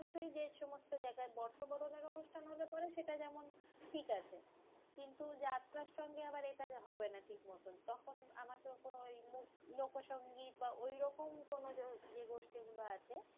যে সমস্ত জায়গায় ওতো বড় জায়গায় অনুষ্ঠান হলে পরে সেটা যেমন ঠিকআছে। কিন্তু যাত্রার সঙ্গে আবার এটা হবে না ঠিক মতন। তখন আমাকে কোনো ওই লোক~ লোকসংগীত বা ওইরকম কোনো যে গোষ্ঠী গুলো আছে